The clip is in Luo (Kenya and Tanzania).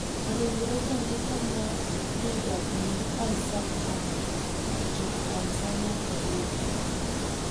Ringre jandiko ma DW Isaac Gamba ochopo Tanzania e yik